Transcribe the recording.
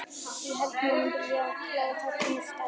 Ég held að menn vilji klára þetta með stæl.